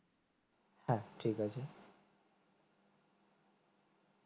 হ্যাঁ ঠিক আছে